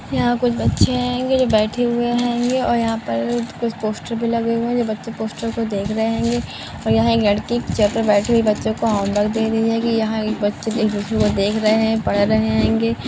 यहा कुछ बच्चे हैंगे जो बैठे हुए हैंगे और यहा पर कुछ पोस्टर भी लगे हुए है जो बच्चे पोस्टर को देख रहे हैंगे और यहा एक लड़की एक चेयर पर बैठी हुई बच्चों को होमवर्क दे रही हैगि यहा एक बच्चे एक दूसरे को देख रहे है पढ़ रहे हैंगे।